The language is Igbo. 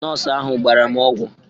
Nọọsụ ahụ gbara m ọgwụ